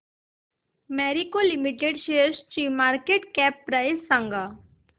Marico limited शेअरची market cap price सांगा